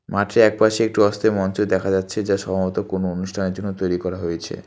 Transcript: মাঠের এক পাশে একটু অস্থায়ী মঞ্চ দেখা যাচ্ছে যা সম্ভবত কোনো অনুষ্ঠানের জন্য তৈরি করা হয়েছে।